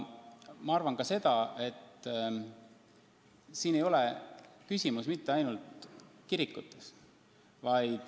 Ma arvan ka seda, et siin ei ole küsimus mitte ainult kirikutes.